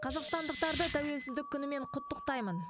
қазақстандықтарды тәуелсіздік күнімен құттықтаймын